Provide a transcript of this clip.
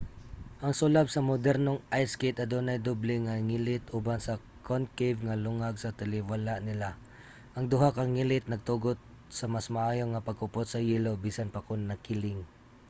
ang sulab sa modernong ice skate adunay doble nga ngilit uban sa concave nga lungag sa taliwala nila. ang duha ka ngilit nagtugot sa mas maayo nga pagkupot sa yelo bisan pa kon nakiling